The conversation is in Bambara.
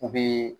U bɛ